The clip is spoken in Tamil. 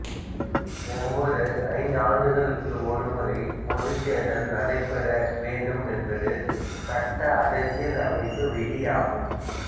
ஒவ்வோர் ஐந்து ஆண்டுகளுக்கு ஒரு முறை பொதுத் தேர்தல் நடைபெற வேண்டும் என்பது சட்ட அரசியல் அமைப்பு விதியாகும்